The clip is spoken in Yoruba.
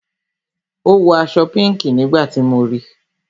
Ó wọ aṣọ pinki nígbà tí mo ríi